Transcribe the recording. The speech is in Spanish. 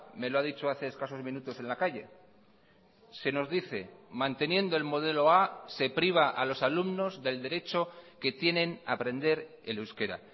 me lo ha dicho hace escasos minutos en la calle se nos dice manteniendo el modelo a se priva a los alumnos del derecho que tienen a aprender el euskera